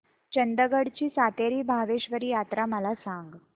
चंदगड ची सातेरी भावेश्वरी यात्रा मला सांग